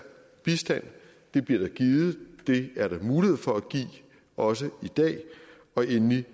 bistand det bliver der givet og det er der mulighed for at give også i dag og endelig